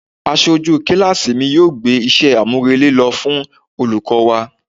Aṣojú kíláàsì mi yóò gbé iṣẹ́ àmúrelé lọ fún olùkọ́ wa.